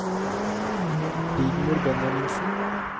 Rigmor Benjaminsen